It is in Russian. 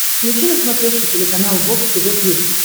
включи на смотрешке телеканал бокс тв плюс